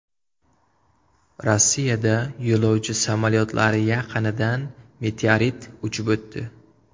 Rossiyada yo‘lovchi samolyotlari yaqinidan meteorit uchib o‘tdi.